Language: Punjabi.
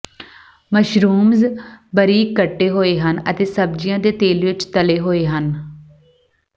ਮਸ਼ਰੂਮਜ਼ ਬਾਰੀਕ ਕੱਟੇ ਹੋਏ ਹਨ ਅਤੇ ਸਬਜ਼ੀਆਂ ਦੇ ਤੇਲ ਵਿੱਚ ਤਲੇ ਹੋਏ ਹਨ